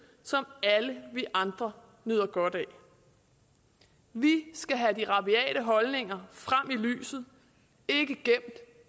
som alle vi andre nyder godt af vi skal have de rabiate holdninger frem i lyset ikke gemt